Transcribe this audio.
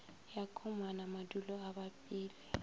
ya komana madula a bapile